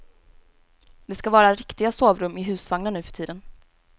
Det skall vara riktiga sovrum i husvagnar nu för tiden.